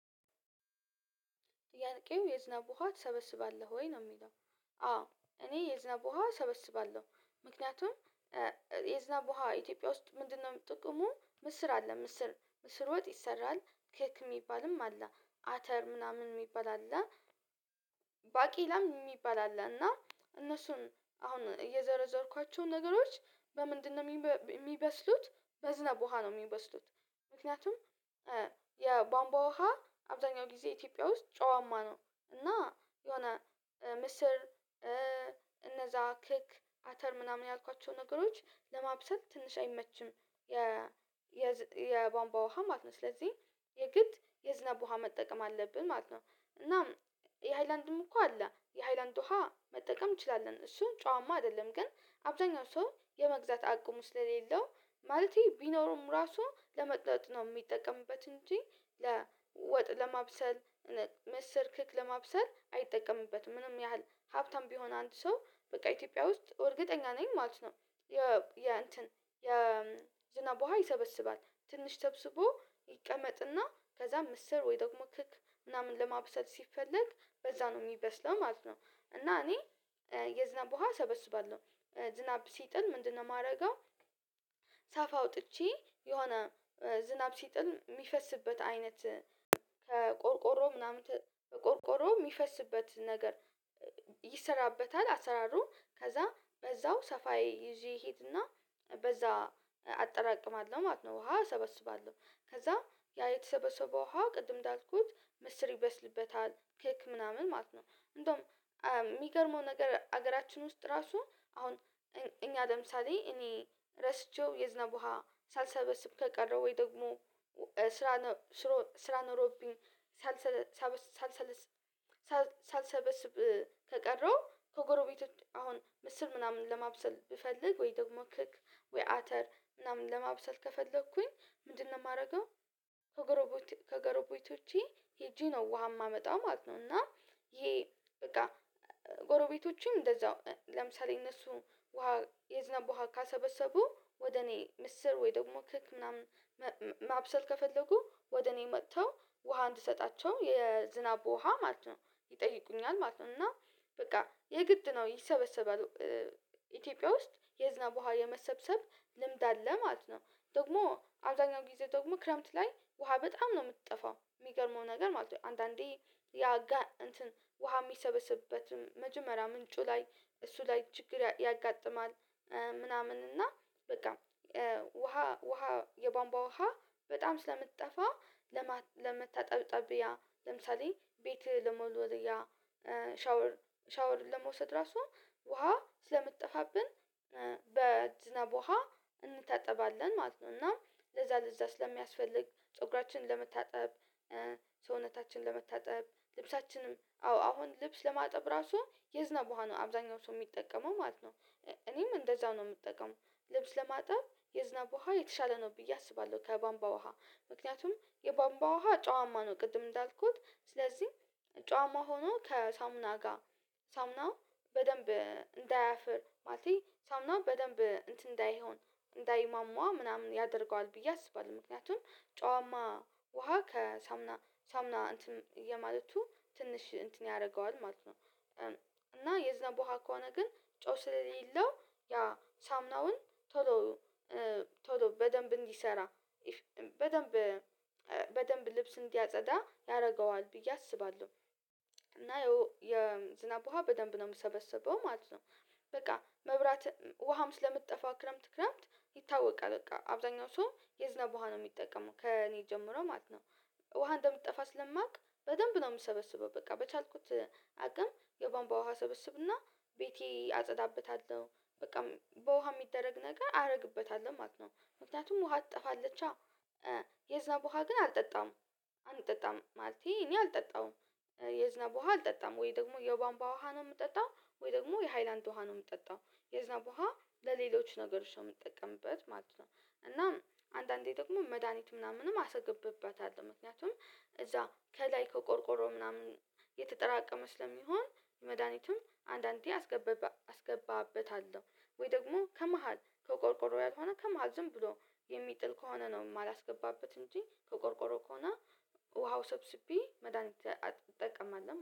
ጥያቄው የዝናብ ውሃ ትሰበስባለህ ወይ ነው የሚለው? አዎ እኔ የዝናብ ውሃ እሰበስባለሁ ምክንያቱም የዝናብ ውሃ ኢትዮጵያ ውስጥ ምንድነው ጥቅሙ ምስር አለ ምስር ምስር ወጥ ይሰራል ኬክ የሚባልም አለ አተር ምናምን የሚባል አለ። ባቄላም የሚባል አለ እና እነሱን አሁን የዘረዘርኳቸውን ነገሮች በምንድንነው የሚበስሉት በዝነብ ውሃ ነው የሚበስሉት። ምክንያቱም የቧንቧ ውሃ አብዛኛው ጊዜ ኢትዮጵያ ውስጥ ጨዋማ ነው። እና የሆነ ምስር እነዛ ክክ አተር ምናምን ያልኳቸው ነገሮች ለማብሰል ትንሽ አይመችም። የ የ የዝ የቧንቧ ውሃ ማት ነው ስለዚህ የግድ የዝናብ ውሃ መጠቀም አለብን ማለት ነው። እናም የሃይላንድም እኮ አለ የሃይላንድ ውሃ መጠቀም እንችላለን እሱን ጨዋማ አይደለም። ግን አብዛኛው ሰው የመግዛት አቅሙ ስለሌለው ማለቴ ቢኖረውም ራሱ ለመጠጥ ነው የሚጠቀምበት እንጂ ለ ወጥ ለማብሰል ምስር ክክ ለማብሰል አይጠቀምበትም ምንም ያህል ሀብታም ቢሆን አንድ ሰው በቃ ኢትዮጵያ ውስጥ እርግጠኛ ነኝ ማለት ነው። የ የእንትን የ ዝናብ ውሃ ይሰበስባል ትንሽ ሰብስቦ ይቀመጥና ከዛ ምስር ወይ ደግሞ ክክ ምናምን ለማብሰል ሲፈለግ በዛ ነው የሚበስለው ማለት ነው። እና እኔ የዝናብ ውሃ እሰበስባለሁ ዝናብ ሲጥል ምንድነው የማደርገው? ሳፋ አውጥቼ የሆነ ዝናብ ሲጥል የሚፈስበት አይነት ከቆርቆሮ ምናምን ተ ቆርቆሮው የሚፈስበት ነገር ይሰራበታል አሰራሩ ከዛ በዛው ሰፋዬ ይዤ እሄድና በዛ አጠራቅማለሁ ማለት ነው። ውሃ እሰበስባለሁ ከዛ ያ የተሰበሰበ ውሃ ቅድም እንዳልኩት ምስር ይበስልበታል ኬክ ምናምን ማለት ነው። እንደውም የሚገርመው ነገር አገራችን ውስጥ ራሱ አሁን እኛ ለምሳሌ እኔ ረስቼው የዝናብ ውሃ ሳልሰበስብ ከቀረው ወይ ደግሞ ስራ ነ ስሮ ስራ ኖሮብኝ ሳልሰ ሰበስ ሳልስ ሳልሰበስብ ከቀረው ከጎረ ቤቶች አሁን ምስር ምናምን ለማብሰል ብፈልግ ወይ ደግሞ ክክ ወይ አተር ምናምን ለማብሰል ከፈለኩኝ ምንድንነው የማደርገው? ከጎረጎቴ ከጎረቤቶቼ ሄጄ ነው ውሃ የማመጣው ማለት ነው። እና ይሄ በቃ ጎረቤቶችም እንደዛው ለምሳሌ እነሱ ውሃ የዝናብ ውሃ ካልሰበሰቡ ወደ እኔ ምስር ወይ ደግሞ ክክ ምናምን መ ማብሰል ከፈለጉ ወደ እኔ መጥተው ውሃ እንድሰጣቸው የዝናብ ውሃ ማለት ነው ይጠይቁኛል ማለት ነው። እና በቃ የግድ ነው ይሰበሰባል ኢትዮጵያ ውስጥ የዝናብ ውሃ የመሰብሰብ ልምድ አለ ማለት ነው። ደግሞ አብዛኛው ጊዜ ደግሞ ክረምት ላይ ውሃ በጣም ነው የምትጠፋው የሚገርመው ነገር ማለት ነው አንዳንዴ ያ ጋ እንትን ውሃ የሚሰበስበት መጀመሪያ ምንጩ ላይ እሱ ላይ ችግር ያጋጥማል። ምናምን እና በቃ ውሃ ውሃ የቧንቧ ውሃ በጣም ስለምትጠፋ ለመተጣጠብያ ለምሳሌ ቤት ለመወልወያ ሻወር ሻወር ለመውሰድ ራሱ ውሃ ስለምትጠፋብን በዝናብ ውሃ እንታጠባለን ማለት ነው። እና ለዛ ለዛ ስለሚያስፈልግ ፀጉራችን ለመታጠብ ሰውነታችንን ለመታጠብ ልብሳችንም አዎ አሁን ልብስ ለማጠብ ራሱ የዝናብ ውሃ ነው አብዛኛው ሰው የሚጠቀመው ማለት ነው። እኔም እንደዛው ነው የምጠቀመው ልብስ ለማጠብ የዝናብ ውሃ የተሻለ ነው ብዬ አስባለሁ ከቧንቧ ውሃ። ምክንያቱም የቧንቧ ውሃ ጨዋማ ነው ቅድም እንዳልኩት ስለዚህ ጨዋማ ሆኖ ከሳሙና ጋር ሳሙና በደንብ እንዳያፍር ማለቴ ነው ሳሙናው በደንብ እንትን እንዳይሆን እንዳይሟሟ ምናምን ያደርገዋል ብዬ አስባለሁ ምክንያቱም ጨዋማ ውሃ ከሳሙና ሳሙና እንትን የማለቱ ትንሽ እንትን ያደርገዋል ማለት ነው። እና የዝናብ ውሃ ከሆነ ግን ጨው ስለሌለው ያ ሳሙናውን ቶሎ ቶሎ በደንብ እንዲሰራ በደንብ በደንብ ልብስ እንዲያጸዳ ያደርገዋል ብዬ አስባለሁ። እና ያው የዝናብ ውሃ በደንብ ነው የምሰበሰበው ማለት ነው። በቃ መብራት ውሃም ስለምትጠፋ ክረምት ክረምት ይታወቃል በቃ አብዛኛው ሰው የዝናብ ውሃ ነው የሚጠቀመው ከእኔ ጀምሮ ማለት ነው። ውሃ እንደምትጠፋ ስለማውቅ በደንብ ነው የምሰበስበው በቃ በቻልኩት አቅም የቧንቧ ውሃ እሰብስብና ቤቴ አጸዳበታለሁ በቃ በውሃ የሚደረግ ነገር አደርግበታለሁ ማለት ነው። ምክንያቱም ውሃ ትጠፋለቻ የዝናብ ውሃ ግን አልጠጣም። አንጠጣም ማለቴ እኔ አልጠጣውም። የዝናብ ውሃ አልጠጣም ወይ ደግሞ የቧንቧ ውሃ ነው የምጠጣው ወይ ደግሞ የሃይላንድ ውሃ ነው የምጠጣው የዝናብ ውሃ ለሌሎች ነገሮች ነው የምትጠቀምበት ማለት ነው። እናም አንዳንዴ ደግሞ መድሃኒት ምናምንም አስገባበታለሁ ምክንያቱም እዛ ከላይ ከቆርቆሮ ምናምን የተጠራቀመ ስለሚሆን መድሃኒቱም አንዳንዴ አስገብባ አስገባበታለሁ ወይ ደግሞ ከመሃል ከቆርቆሮ ያልሆነ ከመሃል ዝም ብሎ የሚጥል ከሆነ ነው የማላስገባበት እንጂ ከቆርቆሮ ከሆነ ውሃው ሰብስቤ መድሃኒት አት እጠቀማለሁ